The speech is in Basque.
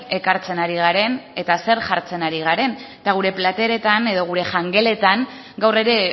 ekartzen ari garen eta zer jartzen ari garen eta gure plateretan edo gure jangeletan gaur ere